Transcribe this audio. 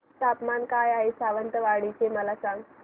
तापमान काय आहे सावंतवाडी चे मला सांगा